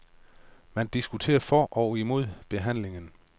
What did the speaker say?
Man diskuterer for og imod behandlingen.